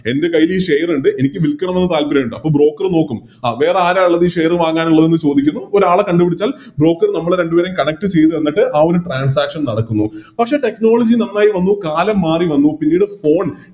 എൻറെ കൈയില് ഈ Share ഇണ്ട് എനിക്ക് വിൽക്കണമെന്ന് താല്പര്യമുണ്ട് അപ്പോം Broker നോക്കും അഹ് വേറെ ആരാ ഇള്ളത് ഈ Share വാങ്ങാനിള്ളത് എന്ന് ചോദിക്കുന്നു ഒരാളെ കണ്ട് പിടിച്ചാൽ Broker നമ്മളെ രണ്ടുപേരെയും Connect ചെയ്യും എന്നിട്ട് ആ ഒരു Transaction നടക്കുന്നു പക്ഷെ Technology നന്നായി വന്നു കാലം മാറി വന്നു പിന്നീട് Phone